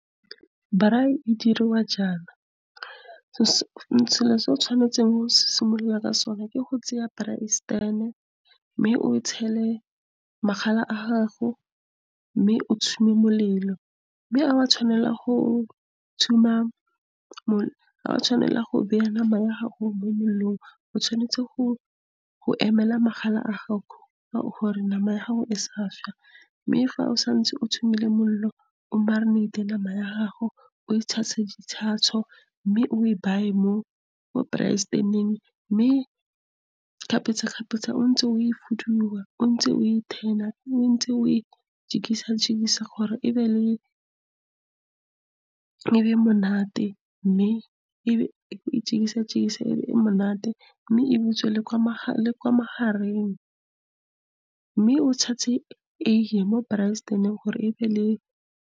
Braai e diriwa jaana. Selo se o tshwanetseng go simolola ka sona ke go tseya braai stan-e, mme o tshele magala a gago, mme o molelo. Mme ga wa tshwanela go nama ya gago mo molelong. O tshwanetse go emela magala a gago gore nama ya gago e sa sha. Mme fa o santse o molelo, o marinate nama ya gago, o e tshase di , mme o e mo braai stan-eng. Mme kgapetsa-kgapetsa o ntse o e fuduwa, o ntse o e turn-a, o ntse o e jikisa-jikisa, gore e be monate mme e butswe le kwa magareng. Mme o tshetse eiye mo braai stan-eng gore e be le.